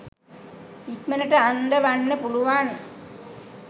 ඉක්මනට අන්දවන්න පුළුවන්.